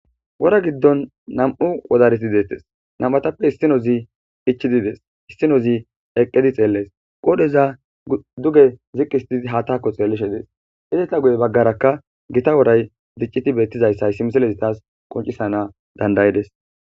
Wora giddon nam'u wodareti deettes nam'atappe issino zi ichidides issinozi heqqedi xeellees qoodheza duge ziqqisitii haattakko xeellishe dees hideta guye baggaraka gita woray dicciti beettizayssa simiselezi taas qoncisana dandayides